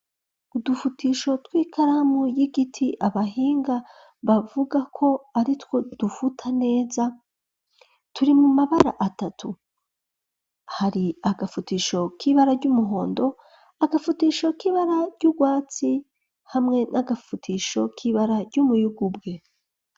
Udufutisho tw'ikaramu y'igiti abahinga bavuga ko aritwo dufuta neza turi mu mabara atatu hari agafutisho k'ibara ry'umuhondo agafutisho k'ibara ry'urwatsi hamwe n'agafutisho k'ibara ry'umuyugubwe.